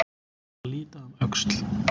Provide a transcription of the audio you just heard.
Að líta um öxl